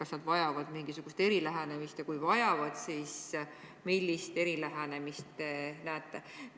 Kas nad vajavad mingisugust erilähenemist ja kui vajavad, siis millist erilähenemist te näete?